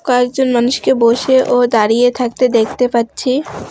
কয়েকজন মানুষকে বসে ও দাঁড়িয়ে থাকতে দেখতে পাচ্ছি